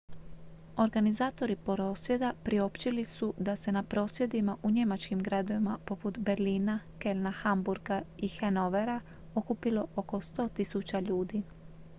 organizatori prosvjeda priopćili su da se na prosvjedima u njemačkim gradovima poput berlina kölna hamburga i hanovera okupilo oko 100.000 ljudi